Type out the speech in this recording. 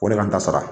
O de ka n ta sara